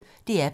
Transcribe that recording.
DR P1